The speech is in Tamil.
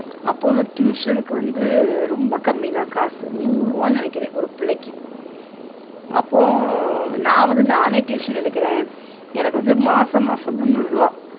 அப்ப tuition க்கு வந்து ரொம்ப கம்மி தான் காசு நூருவான்னு நினைக்குறேன் ஒரு பிள்ளைக்கு அப்போம் நான் வந்து நானே tuition எடுக்குறன் எனக்கு வந்து மாசம் மாசம் முன்னூருவா